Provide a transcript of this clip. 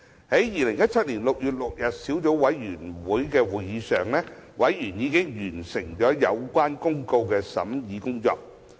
在2017年6月6日的小組委員會會議上，委員已完成有關公告的審議工作。